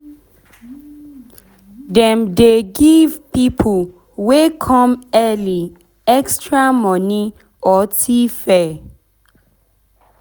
dem dey give pipo wey come early extra moni or tfare